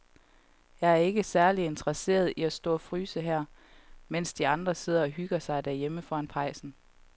Jeg er ikke særlig interesseret i at stå og fryse her, mens de andre sidder og hygger sig derhjemme foran pejsen.